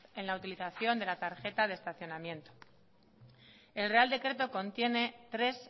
en la utilización de la tarjeta de estacionamiento el real decreto contiene tres